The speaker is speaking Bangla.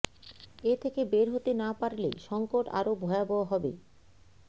এ থেকে বের হতে না পারলে সংকট আরও ভয়াবহ হবে